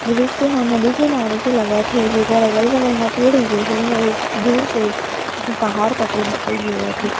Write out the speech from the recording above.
दृश्य ह नदी किनारे के लगत हे जेकर अगल बगल म पेड़ उगे हे अउ-- दूर से एक ठन पहाड़ तको दिखाई देवत हे ।--